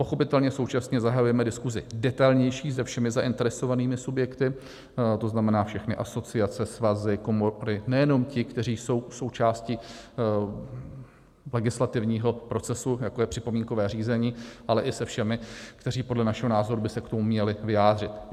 Pochopitelně současně zahajujeme diskusi detailnější se všemi zainteresovanými subjekty, to znamená všechny asociace, svazy, komory, nejenom ti, kteří jsou součástí legislativního procesu, jako je připomínkové řízení, ale i se všemi, kteří podle našeho názoru by se k tomu měli vyjádřit.